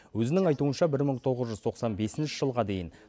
өзінің айтуынша бір мың тоғыз жүз тоқсан бесінші жылға дейін